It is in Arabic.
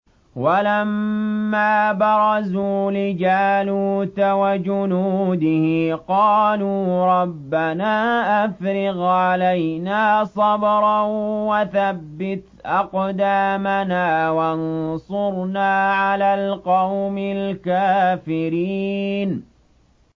وَلَمَّا بَرَزُوا لِجَالُوتَ وَجُنُودِهِ قَالُوا رَبَّنَا أَفْرِغْ عَلَيْنَا صَبْرًا وَثَبِّتْ أَقْدَامَنَا وَانصُرْنَا عَلَى الْقَوْمِ الْكَافِرِينَ